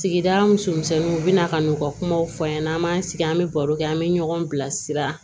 Sigida muso misɛnninw u bɛ na ka n'u ka kumaw fɔ an ɲɛna an b'an sigi an bɛ baro kɛ an bɛ ɲɔgɔn bilasira